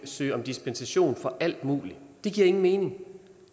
søge om dispensation for alt muligt det giver ingen mening